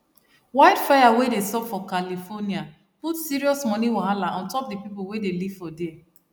wildfire wey sup for california put serious money wahala untop the people wey dey live for there